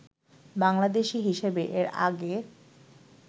বাংলাদেশি হিসেবে এর আগে